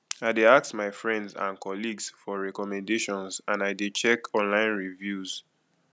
i dey ask my friends and colleagues for recommendations and i dey check online reviews